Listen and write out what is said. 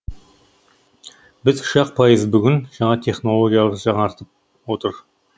біз үш ақ пайыз бүгін жаңа технологиялар жаңартып отыр